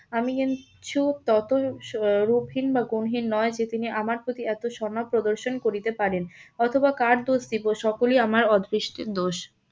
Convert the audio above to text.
আমি কিন্তু তত রূপহীন বা গুণহীন নয় যে তিনি আমার প্রতি এত সনদ প্রদর্শন করিতে পারেন অথবা কার দোষ দিব সকলি আমার অদৃষ্টের দোষ।